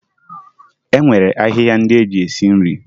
E nwere ahịhịa ndị eji esi nri